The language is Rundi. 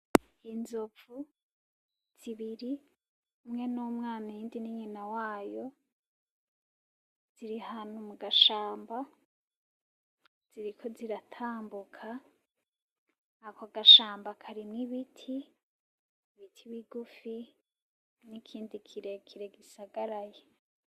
inzovu zibiri umwe numwana, iyindi ninyina wayo ziri ahantu mugashamba ziirko ziratambuka. Ako gashamba karimu ibiti, ibiti bigufi, nikindi kirekire gisagaraye.